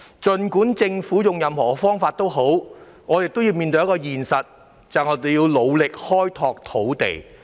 不管政府使用任何方法，我們也要面對一個現實，便是要努力開拓土地。